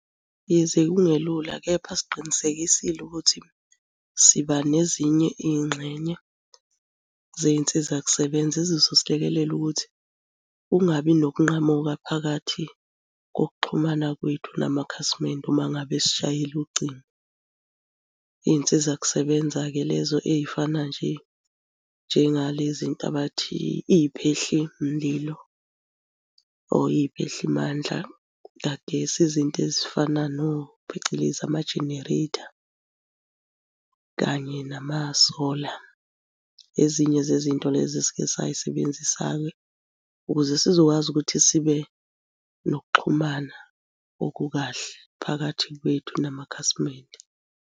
Yize kungelula kepha siqinisekisile ukuthi siba nezinye iy'ngxenye zey'nsiza kusebenza ezizosilekelela ukuthi kungabi nokunqamuka phakathi kokuxhumana kwethu namakhasimende uma ngabe esishayela ucingo. Iy'nsiza kusebenza-ke lezo ey'fana nje njengalezi nto abathi iy'phehlimlilo or iy'phehlimandla y'kagesi. Izinto ezifana no, phecelezi ama-generator, kanye nama-solar. Ezinye zezinto lezi esike say'sebenzisa-ke ukuze sizokwazi ukuthi sibe nokuxhumana okukahle phakathi kwethu namakhasimende.